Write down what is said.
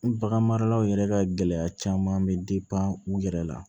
Bagan maralaw yɛrɛ ka gɛlɛya caman bɛ u yɛrɛ la